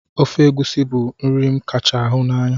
Ofe egusi bu nri m kacha hi n'anya